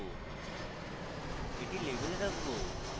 এটি label রাখবো